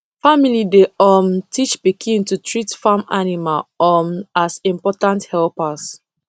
family dey um teach pikin to treat farm animal um as important helpers